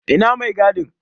Ina mai gadin?